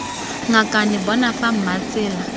ngakane bona fa mma tsela